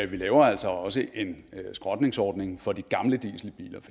vi laver altså også en skrotningsordning for de gamle dieselbiler